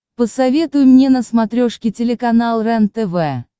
посоветуй мне на смотрешке телеканал рентв